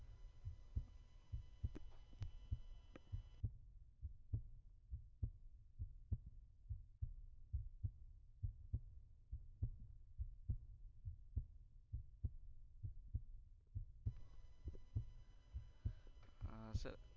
આ સ